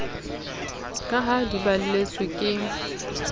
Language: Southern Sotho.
ka ha di balletswe ke